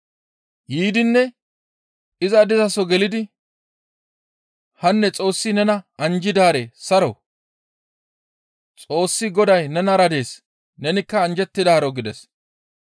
Yiidinne iza dizaso gelidi, «Hanne Xoossi nena anjjidaare saro! Xoossi Goday nenara dees nenikka anjjettidaaro» gides.